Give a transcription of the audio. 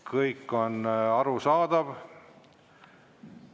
Kõik on arusaadav.